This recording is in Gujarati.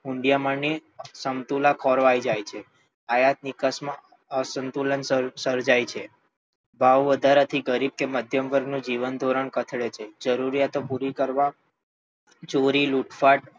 હૂંડિયામણની સમતુલા ખોરવાઈ જાય છે આયાત નિકાસમાં અસમતુલન સર્જાય છે ભાવ વધારાથી ગરીબ કે મધ્યમવર્ગનું જીવનધોરણ કથળે છે જરૂરિયાતો પૂરી કરવા ચોરી લૂંટફાટ